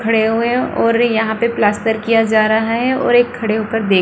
खड़े हुए है और यहाँ पे प्लास्तर किया जा रहा है और एक खड़े ऊपर देख --